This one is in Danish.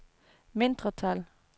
mindretal